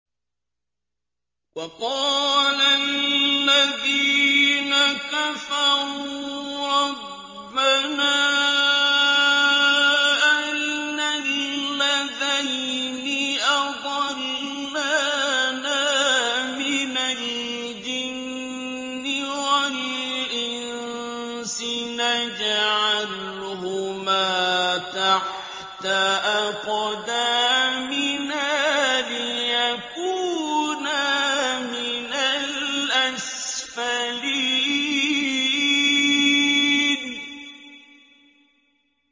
وَقَالَ الَّذِينَ كَفَرُوا رَبَّنَا أَرِنَا اللَّذَيْنِ أَضَلَّانَا مِنَ الْجِنِّ وَالْإِنسِ نَجْعَلْهُمَا تَحْتَ أَقْدَامِنَا لِيَكُونَا مِنَ الْأَسْفَلِينَ